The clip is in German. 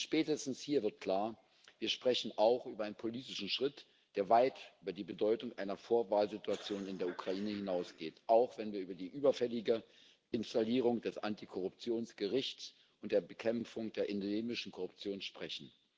Spätestens hier wird klar Wir sprechen auch über einen politischen Schritt, der weit über die Bedeutung einer Vorwahl Situation in der Ukraine hinausgeht auch wenn wir über die überfällige Installierung des Antikorruptionsgerichts und der Bekämpfung der endemischen Korruption sprechen.